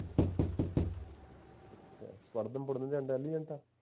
ਪੜ੍ਹਨ ਪੁੜਨ ਚ intelligent ਹੈ